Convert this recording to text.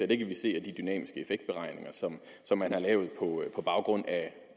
det kan vi se af de dynamiske effektberegninger som man har lavet på baggrund af